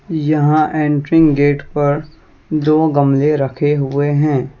यहां entry gate पर दो गमले रखे हुए हैं।